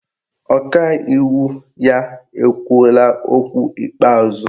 Ọkaiwu ya ekwuola okwu ikpeazụ?